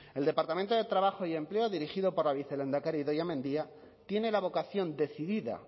el departamento de trabajo y empleo dirigido por la vicelehendakari idoia mendia tiene la vocación decidida